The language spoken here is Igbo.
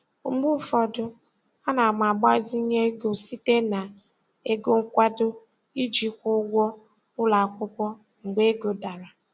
Mgbe ụfọdụ ana m agbazinye ego site na ego nkwado iji kwụọ ụgwọ ụlọ akwụkwọ mgbe ego dara.